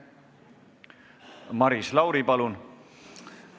Maris Lauri, palun!